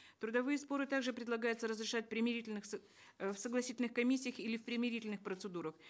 трудовые споры так же предлагается разрешать в примирительных э в согласительных комиссиях или в примирительных процедурах